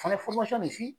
Fana